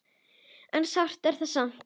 En sárt er það samt.